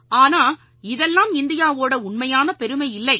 ஆனா இதெல்லாம் இந்தியாவோட உண்மையான பெருமை இல்லை